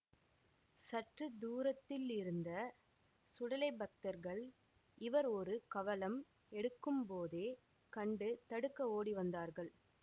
சற்று தூரத்திலிருந்த சுடலை பக்தர்கள் இவர் ஒரு கவளம் எடுக்கும்போதே கண்டு தடுக்க ஓடிவந்தார்கள்